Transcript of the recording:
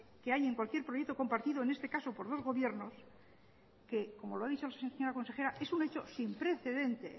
que hay en cualquier proyecto compartido en este caso por los gobiernos que como lo ha dicho la señora consejera es un hecho sin precedente